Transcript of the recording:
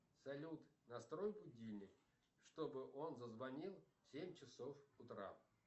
салют настрой будильник чтобы он зазвонил в семь часов утра